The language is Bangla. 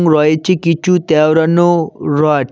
রয়েছে কিছু তেওড়ানো রড ।